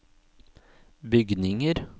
bygninger